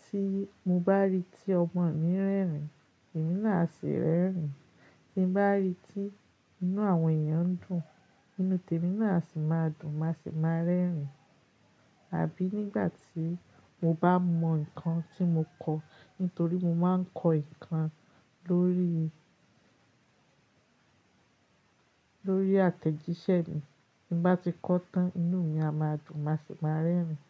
tí mo bá rí tí ọmọ mi ń rẹ́rìn, èmi náà a sì ń rẹ́rìn. Tí mo bá rí tí inú àwọn èèyàn ń dùn, inú tèmi náà sì máa dùn, mà se máa rẹ́rìn. Àbí nígbà tí mo bá mọ nǹkan tí mo kọ̀, nítorí mo máa ń kọ́ nǹkan lórí, lórí àtẹ̀jíṣẹ́ mi. Tí mo bá ti kọ́ tán, inú mi a máa dùn, mà se máa rẹ́rìn.